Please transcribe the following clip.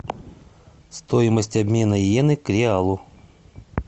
стоимость обмена йены к реалу